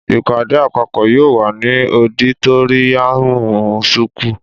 Ìpàdé àpàpó yio wà ni ọdítòríyànmú súkù.